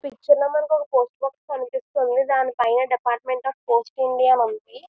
ఈ చిత్రంలో మనకి ఒక పోస్ట్ ఆఫీస్ కనిపిస్తుంది దానిపైన డిపార్ట్మెంట్ ఆఫ్ పోస్ట్స్ ఇండియా అని ఉంది.